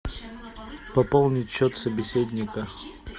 пополнить счет собеседника